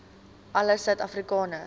alle suid afrikaners